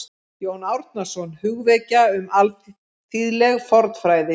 Jón Árnason: Hugvekja um alþýðleg fornfræði